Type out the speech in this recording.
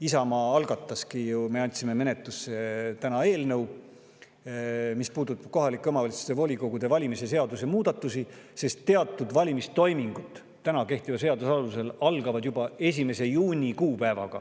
Isamaa andiski täna menetlusse eelnõu, mis puudutab kohaliku omavalitsuse volikogu valimise seaduse muudatusi, sest teatud valimistoimingud algavad praegu kehtiva seaduse alusel juba 1. juunil.